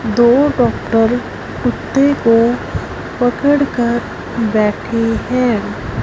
दो डॉक्टर कुत्ते को पकड़ कर बैठे हैं।